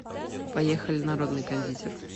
поехали народный кондитер